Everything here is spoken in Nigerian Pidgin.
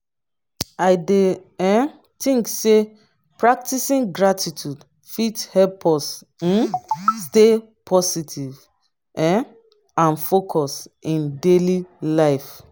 i dey um think say practicing gratitude fit help us um stay positive um and focused in daily life.